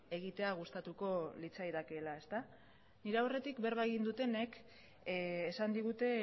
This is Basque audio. egitea gustatuko litzaidakeela nire aurretik berba egin dutenek esan digute